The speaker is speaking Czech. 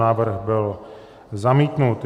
Návrh byl zamítnut.